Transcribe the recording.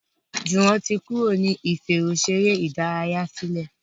Juwon tí Kúrò ní ìfẹ̀rọṣeré ìdárayá sílè